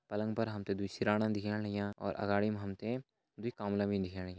पलंग पर हम तें दुई सिराणा दिखेण लग्यां और अगाड़ी मा हम तें दुई कामला भी दिखेण लग्यां।